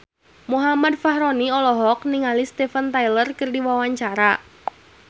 Muhammad Fachroni olohok ningali Steven Tyler keur diwawancara